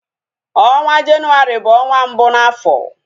Ọnwa jenuwari bu onwa mbụ na afọ